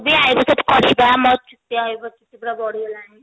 ବି eyebrow save କରିବି ବା ମୋର ବି eyebrow ଚୁଟି ବଢି ଗଲାଣି